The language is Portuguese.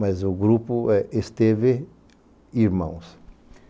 Mas o grupo é Esteves Irmãos.